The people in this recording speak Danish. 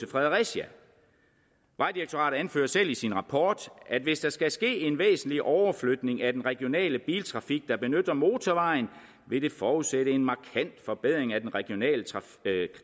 fredericia vejdirektoratet anfører selv i sin rapport at hvis der skal ske en væsentlig overflytning af den regionale biltrafik der benytter motorvejen vil det forudsætte en markant forbedring af den regionale